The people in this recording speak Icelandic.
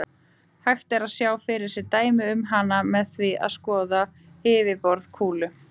Hægt er að sjá fyrir sér dæmi um hana með því að skoða yfirborð kúlu.